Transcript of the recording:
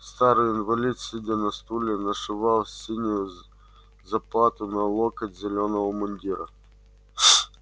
старый инвалид сидя на столе нашивал синюю заплату на локоть зелёного мундира